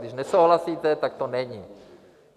Když nesouhlasíte, tak to není.